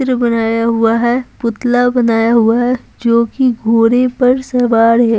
बनाया हुआ है पुतला बनाया हुआ है जो कि घोड़े पर सवार है।